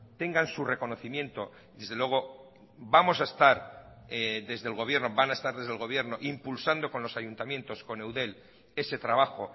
tengan su reconocimiento desde luego vamos a estar desde el gobierno van a estar desde el gobierno impulsando con los ayuntamientos con eudel ese trabajo